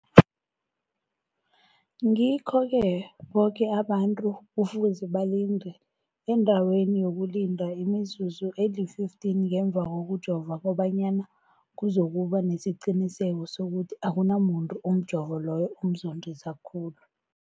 Ngikho-ke boke abantu kufuze balinde endaweni yokulinda imizuzu eli-15 ngemva kokujova, koba nyana kuzokuba nesiqiniseko sokuthi akunamuntu umjovo loyo omzondisa khulu.